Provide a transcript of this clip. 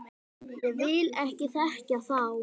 Ég vil ekki þekkja þá.